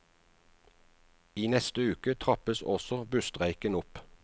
I neste uke trappes også busstreiken opp.